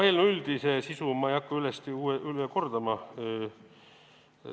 Eelnõu üldist sisu ei hakka ma üle kordama.